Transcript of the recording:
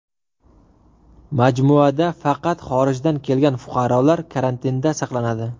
Majmuada faqat xorijdan kelgan fuqarolar karantinda saqlanadi.